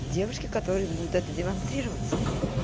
девушки которые будут это демонстрировать